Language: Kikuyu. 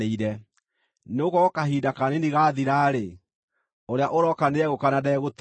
Nĩgũkorwo kahinda kanini gaathira-rĩ, “Ũrĩa ũroka nĩegũka, na ndegũtĩĩra.